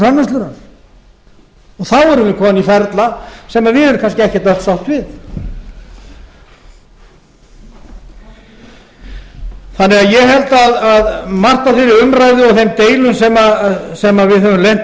erum við komin í ferla sem við erum kannski ekki öll sátt við ég held að margt af þeirri umræðu og þeim deilum sem við höfum lent